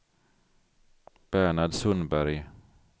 Bernhard Sundberg